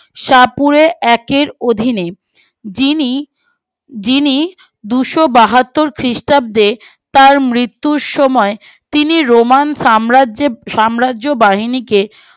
সাপুরে এক এর অধীনে যিনি যিনি দুশো বাহাত্তর খ্রিস্টাব্দে তার মৃত্যুর সময় তিনি রোমান সাম্রাজ্যে সাম্রাজ্য বাহিনীকে